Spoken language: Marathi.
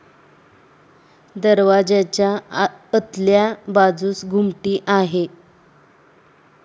दरवाजाच्या अतल्या बाजुस घुमटी आहे.